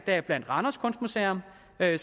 at